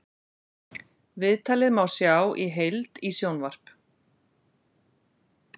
Viðtalið má sjá í heild í sjónvarp